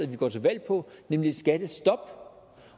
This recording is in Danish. ville gå til valg på nemlig et skattestop